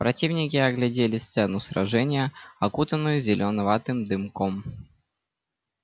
противники оглядели сцену сражения окутанную зелёноватым дымком